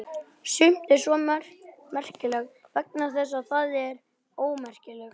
Sumt er svo merkilegt vegna þess hvað það er ómerkilegt.